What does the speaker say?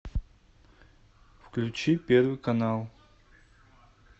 включи первый канал